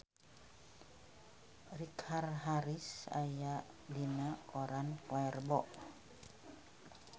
Richard Harris aya dina koran poe Rebo